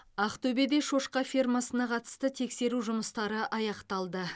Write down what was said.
ақтөбеде шошқа фермасына қатысты тексеру жұмыстары аяқталды